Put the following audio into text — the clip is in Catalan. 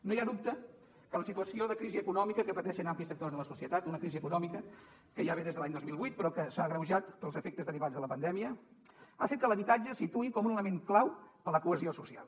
no hi ha dubte que la situació de crisi econòmica que pateixen amplis sectors de la societat una crisi econòmica que ja ve des de l’any dos mil vuit però que s’ha agreujat pels efectes derivats de la pandèmia ha fet que l’habitatge es situï com un element clau per a la cohesió social